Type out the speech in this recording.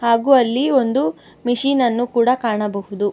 ಹಾಗು ಅಲ್ಲಿ ಒಂದು ಮಿಷಿನ್ ಅನ್ನು ಕೂಡ ಕಾಣಬಹುದು.